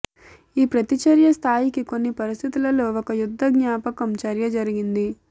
ఈ ప్రతిచర్య స్థాయికి కొన్ని పరిస్థితులలో ఒక యుద్ధ జ్ఞాపకం చర్య జరిగింది